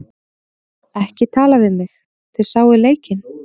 Ekki tala við mig, þið sáuð leikinn.